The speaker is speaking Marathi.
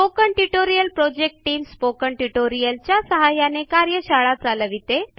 spoken tutorial project team spoken tutorial च्या सहाय्याने कार्यशाळा चालविते